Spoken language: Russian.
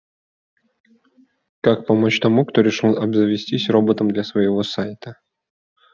как помочь тому кто решил обзавестись роботом для своего сайта